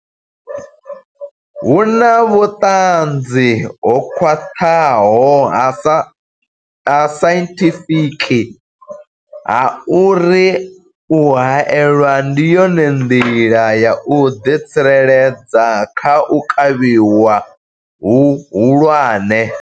Hu na vhuṱanzi ho khwaṱhaho ha sainthifiki ha uri u haelwa ndi yone nḓila ya u ḓitsireledza kha u kavhiwa hu hulwane.